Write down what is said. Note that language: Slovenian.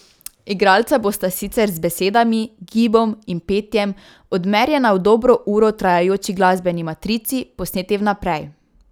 Igralca bosta sicer z besedami, gibom in petjem odmerjena v dobro uro trajajoči glasbeni matrici, posneti vnaprej.